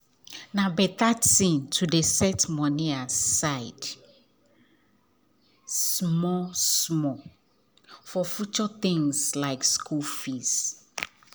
na better plan to dey set money aside small-small for future things like school fees.